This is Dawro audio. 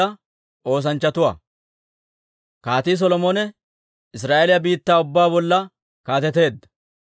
Kaatii Solomone Israa'eeliyaa biittaa ubbaa bolla kaateteedda.